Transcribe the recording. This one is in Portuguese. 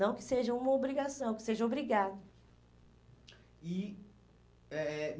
Não que seja uma obrigação, que seja obrigado. E eh eh